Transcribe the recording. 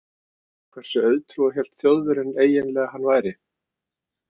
Hversu auðtrúa hélt Þjóðverjinn eiginlega að hann væri?